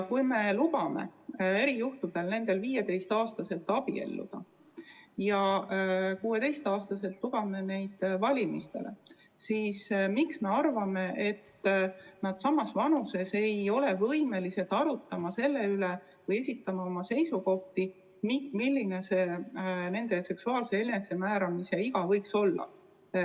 Kui me lubame neil erijuhtudel 15-aastaselt abielluda ja 16-aastaselt lubame neid valimistele, siis miks me arvame, et nad samas vanuses ei ole võimelised arutama selle üle või esitama oma seisukohti selle kohta, milline võiks olla nende seksuaalse enesemääramise iga?